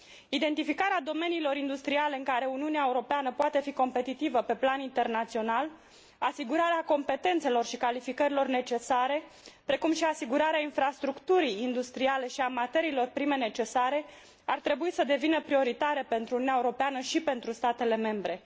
Identificarea domeniilor industriale în care Uniunea Europeană poate fi competitivă pe plan internațional, asigurarea competențelor și calificărilor necesare, precum și asigurarea infrastructurii industriale și a materiilor prime necesare ar trebui să devină prioritare pentru Uniunea Europeană și pentru statele membre.